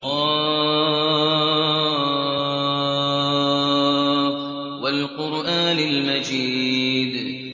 ق ۚ وَالْقُرْآنِ الْمَجِيدِ